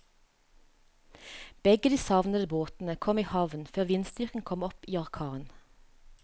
Begge de savnede båtene kom i havn før vindstyrken kom opp i orkan.